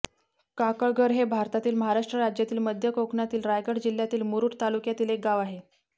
काकळघर हे भारतातील महाराष्ट्र राज्यातील मध्य कोकणातील रायगड जिल्ह्यातील मुरूड तालुक्यातील एक गाव आहे